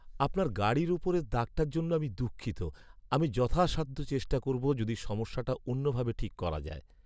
আপনার গাড়ির ওপরের দাগটার জন্য আমি দুঃখিত, আমি যথাসাধ্য চেষ্টা করব যদি সমস্যাটা অন্যভাবে ঠিক করা যায়।